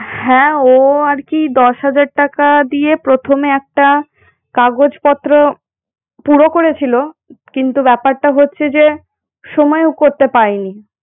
হ্যাঁ ও আর কি দশ হাজার টাকা দিয়ে প্রথমে একটা কাগজপত্র পুরো করেছিল কিন্তু ব্যপারটা হচ্ছে যে সময় ও করতে পারিনি।